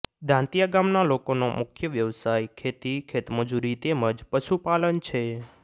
દાંતીયા ગામના લોકોનો મુખ્ય વ્યવસાય ખેતી ખેતમજૂરી તેમ જ પશુપાલન છે